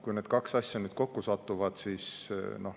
Kui need kaks asja kokku satuvad, siis …